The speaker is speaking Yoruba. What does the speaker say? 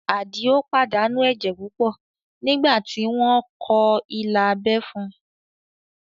Àdìó pàdánù ẹ̀jẹ̀ púpọ̀ nígbà tí wọ́n kọ ilà abẹ́ fún un